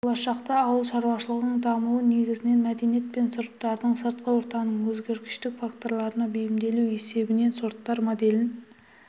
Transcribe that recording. болашақта ауыл шаруашылығының дамуы негізінен мәдениет пен сұрыптардың сыртқы ортаның өзгергіштік факторларына бейімделу есебінен сорттар моделін